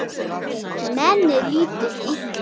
Henni líður illa.